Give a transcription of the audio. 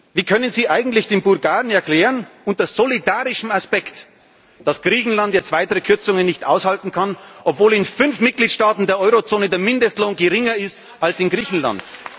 Wie können Sie eigentlich den Bulgaren erklären unter solidarischem Aspekt dass Griechenland jetzt weitere Kürzungen nicht aushalten kann, obwohl in fünf Mitgliedstaaten der Eurozone der Mindestlohn geringer ist als in Griechenland?